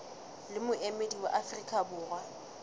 le moemedi wa afrika borwa